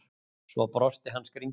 Svo brosti hann skringilega.